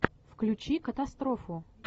включи катастрофу